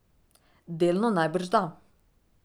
Delno najbrž da.